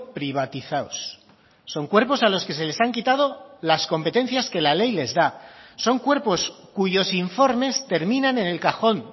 privatizados son cuerpos a los que se les han quitado las competencias que la ley les da son cuerpos cuyos informes terminan en el cajón